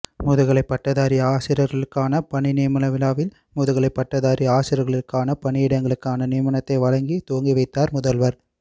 முதுகலைப்பட்டதாரி ஆசிரியர்களுக்கான பணிநியமனவிழாவில் முதுகலைப்பட்டதாரி ஆசிரியர்களுக்கான பணியிடங்களுக்கான நியமனத்தை வழங்கி துவங்கி வைத்தார் முதல்வர்